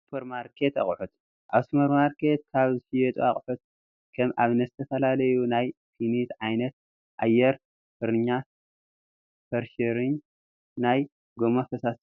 ሱፐርማርኬት ኣቕሑት፡- ኣብ ሱፐርማርኬት ካብ ዝሽየጡ ኣቑሑት ከም ኣብነት ዝተፈላለዩ ናይ ፊኒት ዓይነታት ፣ ኣየር ፍረሸርኝ ናይ ጎማ ፈሳሲ ሳሙናን፡፡